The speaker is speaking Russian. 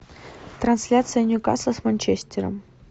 трансляция ньюкасла с манчестером